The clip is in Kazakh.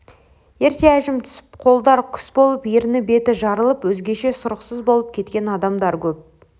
ерте әжім түсіп қолдар күс болып ерні-беті жарылып өзгеше сұрықсыз болып кеткен адамдар көп